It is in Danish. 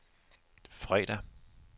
fredag